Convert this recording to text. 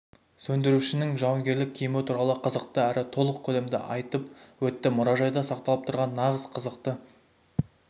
сөндірушінің жауынгерлік киімі туралы қызықты әрі толық көлемде айтып өтті мұражайда сақталып тұрған нағыз қызықты